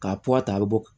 K'a puwa ta a bɛ bɔ